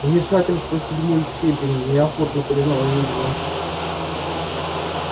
вмешательство седьмой степени неохотно признала ведьма